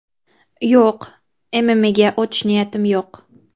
Yo‘q, MMA’ga o‘tish niyatim yo‘q.